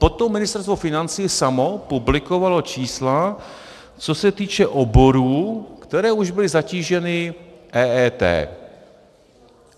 Potom Ministerstvo financí samo publikovalo čísla, co se týče oborů, které už byly zatíženy EET.